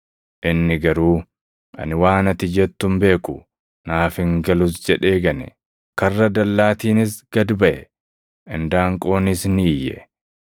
Inni garuu, “Ani waan ati jettu hin beeku; naaf hin galus” jedhee gane. Karra dallaatiinis gad baʼe; indaanqoonis ni iyye.